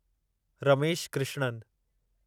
Ramesh Krishnan